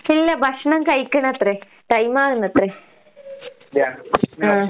ഇല്ല ഭക്ഷണം കഴിക്കണത്രേ. ടൈമാകുന്നത്രേ. ആഹ്.